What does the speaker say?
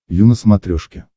ю на смотрешке